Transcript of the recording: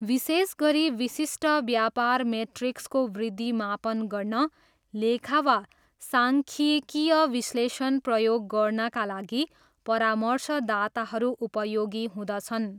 विशेष गरी विशिष्ट व्यापार मेट्रिक्सको वृद्धि मापन गर्न लेखा वा साङ्ख्यिकीय विश्लेषण प्रयोग गर्नाका लागि परामर्शदाताहरू उपयोगी हुँदछन्।